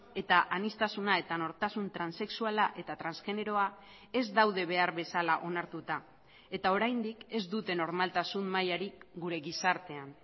eta aniztasuna eta nortasun transexuala eta transgeneroa ez daude behar bezala onartuta eta oraindik ez dute normaltasun mailarik gure gizartean